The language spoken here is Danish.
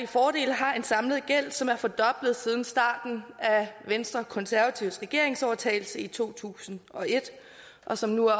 fordele har en samlet gæld som er fordoblet siden starten af venstre og konservatives regeringsovertagelse i to tusind og et og som nu